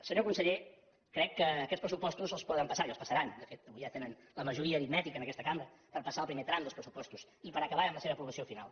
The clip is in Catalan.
senyor conseller crec que aquests pressupostos els poden passar i els passaran de fet avui ja tenen la majoria aritmètica en aquesta cambra per passar el primer tram dels pressupostos i per acabar amb la seva aprovació final